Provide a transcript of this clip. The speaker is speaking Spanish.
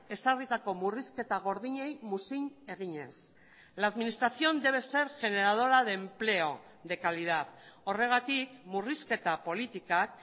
ezarritako murrizketa gordinei muzin eginez la administración debe ser generadora de empleo de calidad horregatik murrizketa politikak